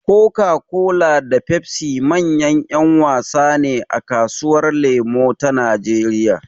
Coca-Cola da Pepsi manyan ‘yan wasa ne a kasuwar lemo ta Najeriya.